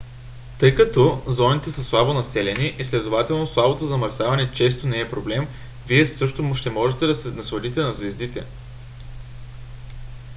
тъй като зоните са слабо населени и следователно слабото замърсяване често не е проблем вие също ще можете да се насладите на звездите